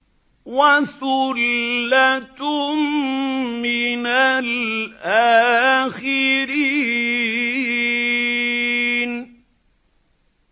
وَثُلَّةٌ مِّنَ الْآخِرِينَ